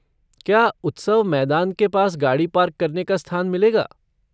क्या उत्सव मैदान के पास गाड़ी पार्क करने का स्थान मिलेगा?